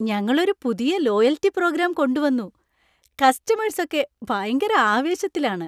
ഞങ്ങളൊരു പുതിയ loyalty programme കൊണ്ടുവന്നു. കസ്റ്റമേഴ്സ് ഒക്കെ ഭയങ്കര ആവേശത്തിലാണ്.